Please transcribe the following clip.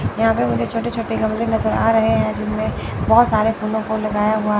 यहां पे मुझे छोटे छोटे गमले नजर आ रहे हैं जिसमें बोहोत सारे फूलों को लगाया हुआ--